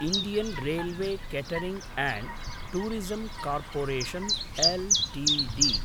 Indian railway catering and tourism corporation Ltd